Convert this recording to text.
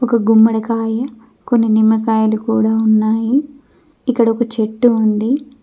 ఒక గుమ్మడికాయ కొన్ని నిమ్మకాయలు కూడా ఉన్నాయి ఇక్కడ ఒక చెట్టు ఉంది.